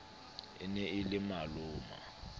e ne e le maloma